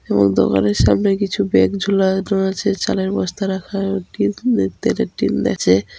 এই দোকানের সামনে কিছু ব্যাগ ঝুলা রয়েছে | চালের বস্তা রাখা তেলের টিন আছে ।